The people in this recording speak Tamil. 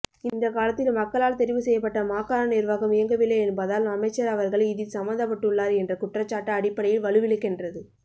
இந்தகாலத்தில் மக்களால் தெரிவுசெய்யப்பட்ட மாகாண நிர்வாகம் இயங்கவில்லை என்பதால் அமைச்சர் அவர்கள் இதில் சம்மந்தப்பட்டுள்ளார் என்ற குற்றச்சாட்டு அடிப்படையில் வலுவிழக்கின்றது